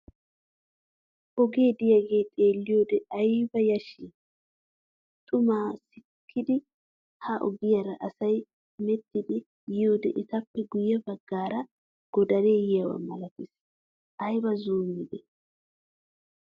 Oge diyagee xeeliyode ayba yashshi! Xummaa sikkidi ha ogiyaara asay hemettiidi yiyode etappe guye baggaara godaree yiyaba malattees. Ayba zumiide!